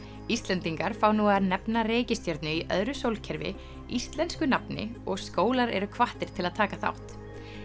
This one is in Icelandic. Íslendingar fá nú að nefna reikistjörnu í öðru sólkerfi íslensku nafni og skólar eru hvattir til að taka þátt